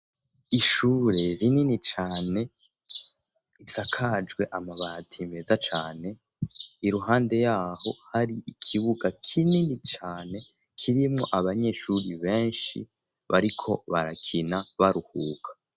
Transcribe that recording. Ishure rinini cane risakajwe amabati meza cane iruhande yaho hari ikibuga kinini cane kirimwo abanyeshure benshi bariko barakina baruhuka.